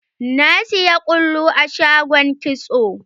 Na saya ƙulu a shagon kitso.